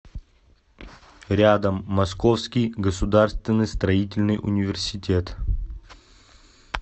рядом московский государственный строительный университет